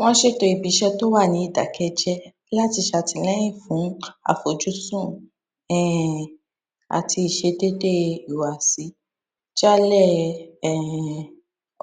wọn ṣètò ibi iṣẹ tí ó wà ní ìdàkẹjẹ láti ṣàtìlẹyìn fún àfojúsùn um àti ìṣedéédé ìhùwàsí jálẹ um